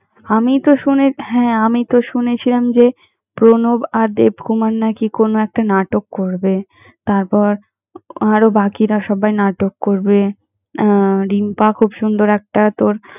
আমি তো শুনে~ হ্যাঁ, আমি তো শুনেছিলাম যে, প্রণব আর দেবকুমার নাকি কোনো একটা নাটক করবে। তারপর, আরও বাকিরা সবাই নাটক করবে। আহ িম্পা খুব সুন্দর একটা তোর।